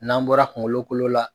N'an bɔra kungolo kolo la.